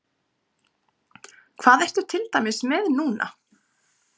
Hvað ertu til dæmis með núna?